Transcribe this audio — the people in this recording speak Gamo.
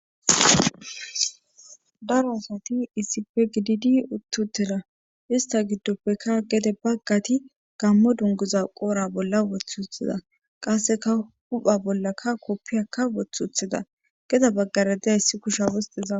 Daro asati iisipe gididi uttutera ista giddoppekka gede baggati gammo dunguza qoora bolla woth uthida qasseka hupha bollaka koppiyakka wothuthida geda baggara dedayssi kusha wosteza.